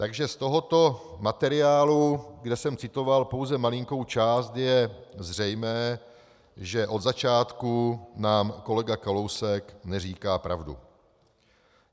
Takže z tohoto materiálu, kde jsem citoval pouze malinkou část, je zřejmé, že od začátku nám kolega Kalousek neříká pravdu.